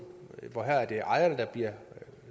for her er det ejerne der bliver